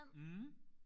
Mh